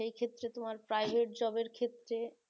সেই ক্ষেত্রে private job এর ক্ষেত্রে